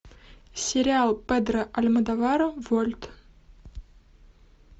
сериал педро альмодовара вольт